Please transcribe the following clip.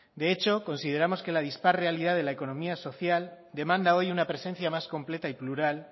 de hecho consideramos que la dispar realidad de la economía social demanda hoy una presenta más completa y plural